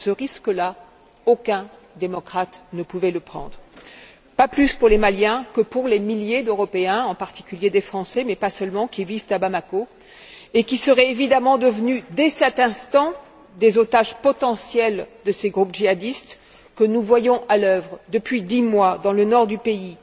Ce risque là, aucun démocrate ne pouvait le prendre, pas plus pour les Maliens que pour les milliers d'Européens, en particulier des Français, mais pas seulement, qui vivent à Bamako et qui seraient évidemment devenus, dès cet instant, des otages potentiels de ces groupes djihadistes que nous voyons à l'œuvre depuis dix mois dans le nord du pays,